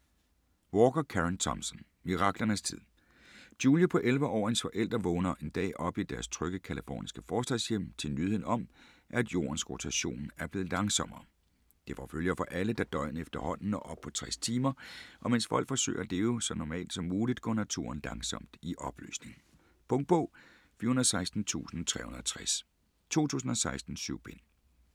Walker, Karen Thompson: Miraklernes tid Julia på 11 år og hendes forældre vågner en dag op i deres trygge californiske forstadshjem til nyheden om, at jordens rotation er blevet langsommere. Det får følger for alle, da døgnet efterhånden når op på 60 timer, og mens folk forsøger at leve så normalt som muligt, går naturen langsomt i opløsning. Punktbog 416360 2016. 7 bind.